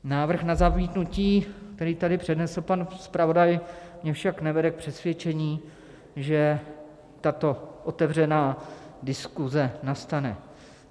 Návrh na zamítnutí, který tady přednesl pan zpravodaj, mě však nevede k přesvědčení, že tato otevřená diskuse nastane.